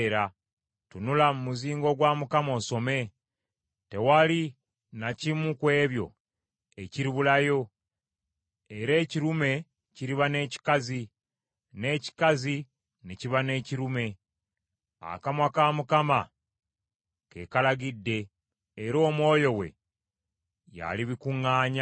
Tunula mu muzingo gwa Mukama osome. Tewali na kimu ku ebyo ekiribulayo, era ekirume kiriba n’ekikazi, n’ekikazi ne kiba n’ekirume. Akamwa ka Mukama ke kalagidde, era Omwoyo we yalibikuŋŋaanya.